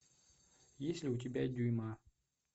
есть ли у тебя дюйма